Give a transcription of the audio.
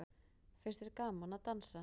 Finnst þér gaman að dansa?